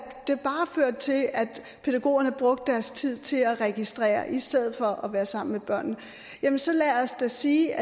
pædagogerne brugte deres tid til at registrere i stedet for at være sammen med børnene så lad os da sige